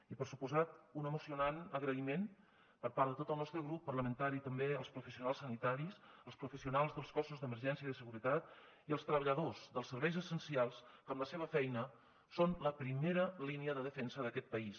i per descomptat un emocionant agraïment per part de tot el nostre grup parlamentari també als professionals sanitaris als professionals dels cossos d’emergència i de seguretat i als treballadors dels serveis essencials que amb la seva feina són la primera línia de defensa d’aquest país